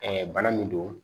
bana min don